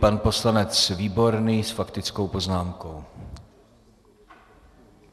Pan poslanec Výborný s faktickou poznámkou.